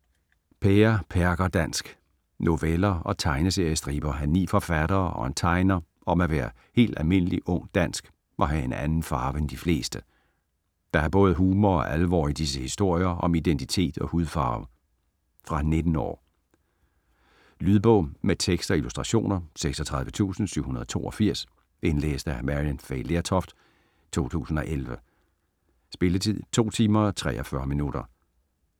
Pære-perker-dansk Noveller og tegneseriestriber af ni forfattere og en tegner om at være helt almindelig, ung, dansk og have en anden farve end de fleste. Der er både humor og alvor i disse historier om identitet og hudfarve. Fra 14 år. Lydbog med tekst og illustrationer 36782 Indlæst af Maryann Fay Lertoft, 2011. Spilletid: 2 timer, 43 minutter.